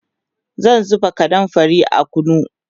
zan zuba kanumfari a kunu